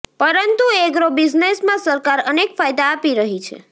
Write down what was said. પરંતુ એગ્રો બિઝનેસમાં સરકાર અનેક ફાયદા આપી રહી છે